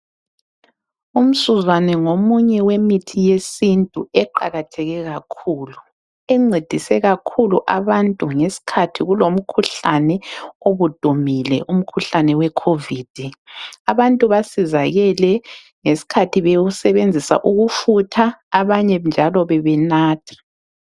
Umsuzwane ngomunye wemithi yesintu eqakatheke kakhulu encedise kakhulu abantu ngesikhathi kulomkhuhlane obudumile umkhuhlane we-COVID. Abantu basizakele ngesikhathi bewusebenzisa ukufutha, abanye njalo bebenatha.